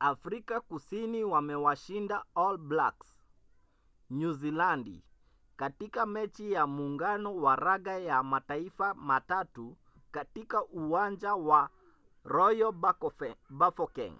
afrika kusini wamewashinda all blacks nyuzilandi katika mechi ya muungano wa raga ya mataifa matatu katika uwanja wa royal bafokeng